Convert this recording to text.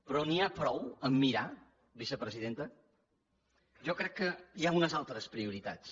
però n’hi ha prou a mirar vicepresidenta jo crec que hi ha unes altres prioritats